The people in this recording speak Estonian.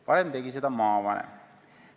Varem tegi seda maavanem.